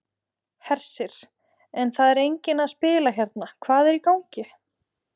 Hersir: En það er enginn að spila hérna, hvað er í gangi?